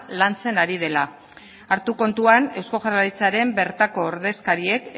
lantzen ari dela hartu kontuan eusko jaurlaritzaren bertako ordezkariek